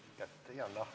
Aitäh!